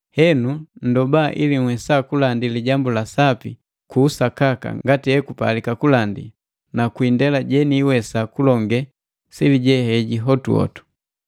Henu nndoba ili nhwesa kulandi Iijambu la Sapi ku usakaka ngati ekupalika kulandi na kwindela jeniwesa kulonge sili je heji hotuhotu.